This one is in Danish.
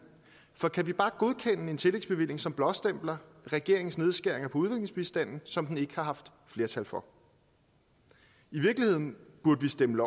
for kan vi bare godkende en tillægsbevilling som blåstempler regeringens nedskæringer på udviklingsbistanden som den ikke har haft flertal for i virkeligheden burde vi stemme